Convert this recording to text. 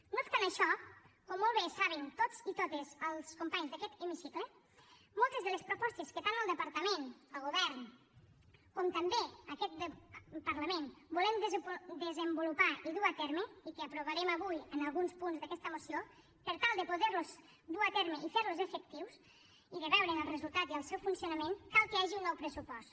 no obstant això com molt bé saben tots i totes els companys d’aquest hemicicle moltes de les propostes que tant el departament el govern com també aquest parlament volem desenvolupar i dur a terme i que aprovarem avui en alguns punts d’aquesta moció per tal de poder los dur a terme i fer los efectius i de veure’n el resultat i el seu funcionament cal que hi hagi un nou pressupost